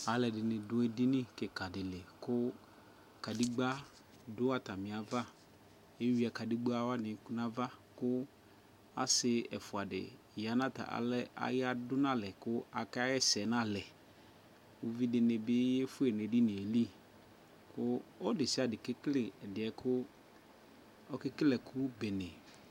Aaluɛdini ɖʋ edinikikaɖili kʋ kaɖegba ɖʋ aataiavaEwuia kaɖegbawani tʋ nava Ku asi ɛfuadi ,yaɖʋ nalɛ ku aakɛɣɛsɛ nalɛƲvidini bi efue neɖinieli ku ɔludesiaɖe kekele, ɛɖie kuu ɔkele ekubene